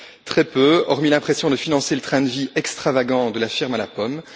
Très peu, hormis l'impression de financer le train de vie extravagant de la firme à la pomme.